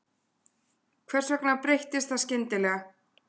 Hvers vegna breyttist það skyndilega?